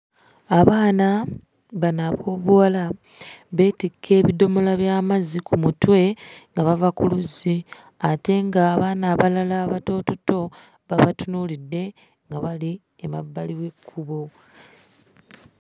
Abaana bano ab'obuwala beetikka ebidomola by'amazzi ku mutwe nga bava ku luzzi, ate ng'abaana abalala abatoototo babatunuulidde nga bali emabbali w'ekkubo.